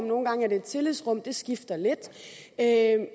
nogle gange er det et tillidsrum det skifter lidt